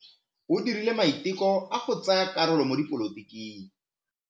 O dirile maitekô a go tsaya karolo mo dipolotiking.